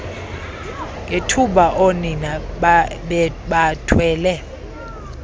ngethuba oonina bebathwele